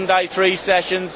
second day three sessions